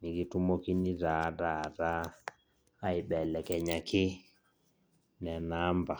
nikitumokini taa taata aibelekenyaki nena amba.